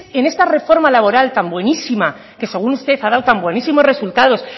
en este reforma laboral tan buenísima que según usted ha dado tan buenísimos resultados